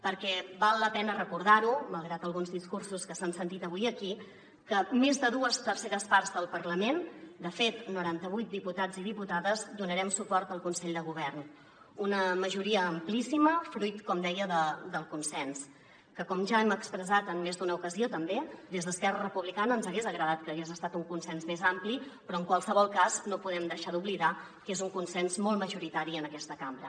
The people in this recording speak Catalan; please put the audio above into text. perquè val la pena recordar malgrat alguns discursos que s’han sentit avui aquí que més de dues terceres parts del parlament de fet noranta vuit diputats i diputades donarem suport al consell de govern una majoria amplíssima fruit com deia del consens que com ja hem expressat en més d’una ocasió també des d’esquerra republicana ens hagués agradat que hagués estat amb un consens més ampli però en qualsevol cas no podem oblidar que és un consens molt majoritari en aquesta cambra